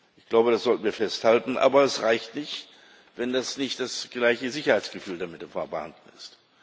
Ich glaube, das sollten wir festhalten. Aber es reicht nicht, wenn nicht das gleiche Sicherheitsgefühl damit verbunden ist.